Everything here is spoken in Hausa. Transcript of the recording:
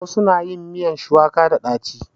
Wasu na yin miyan shuwaka da ɗaci.